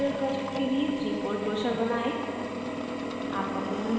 * spoken tutorial project के लिए 3fold brochure बनाएं